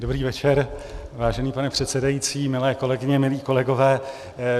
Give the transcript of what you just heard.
Dobrý večer, vážený pane předsedající, milé kolegyně, milí kolegové.